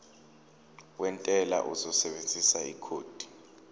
wentela uzosebenzisa ikhodi